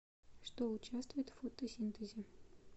что участвует в фотосинтезе